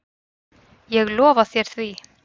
Ég lofa þér því.